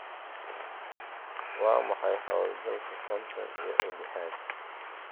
Waa maxay 'Howlgalka konton iyo lixaad